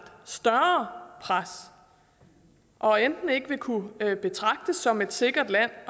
større pres og enten ikke vil kunne betragtes som et sikkert land